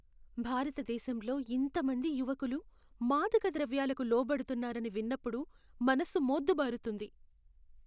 భారతదేశంలో ఇంతమంది యువకులు మాదకద్రవ్యాలకు లోబడుతున్నారని విన్నప్పుడు మనసు మోద్దుబారుతుంది.